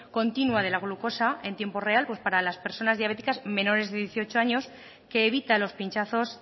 continua de la glucosa entiempo real para las personas diabéticas menores de dieciocho años que evita los pinchazos